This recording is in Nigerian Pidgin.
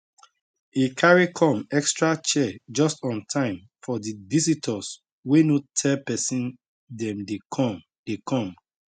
e carry come extra chair just on time for di visitors wey no tell person dem dey come dey come